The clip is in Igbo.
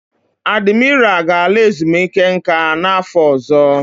Adimira ga-ala ezumike nka n'afọ ọzọ.